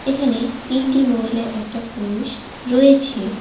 এখানে তিনটি মহিলা একটা পুরুষ রয়েছে।